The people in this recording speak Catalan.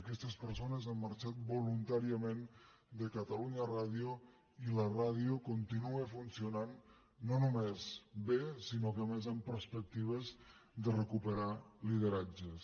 aquestes persones han marxat voluntàriament de catalunya ràdio i la ràdio continua funcionant no només bé sinó que a més amb perspectives de recuperar lideratges